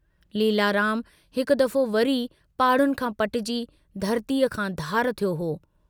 लीलाराम हिकु दफो वरी पाडुनि खां पटजी धरतीअ खां धार थियो हो।